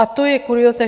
A to je kuriózní.